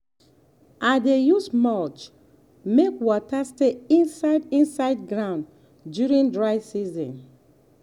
i dey use mulch make water stay inside inside ground during dry season.